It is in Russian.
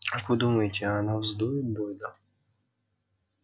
как вы думаете она вздует бойда